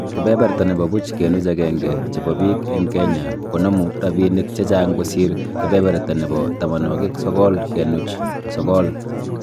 Kebeberta nebo buch kenuch agenge chebo biik eng Kenya konomu rabiinik checha'ng kosiir kebeberta nebo tamanwokik sokol kenuch sokol